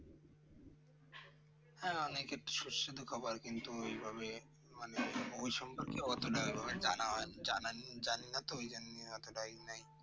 হ্যাঁ অনেক একটু সুস্বাদু খাবার কিন্তু এইভাবে মানে ওই সম্পর্কে জানা জানিনা তো। ওই জন্য এতটা ই নাই